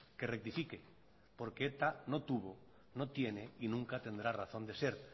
que rectifique porque eta no tuvo no tiene y nunca tendrá razón de ser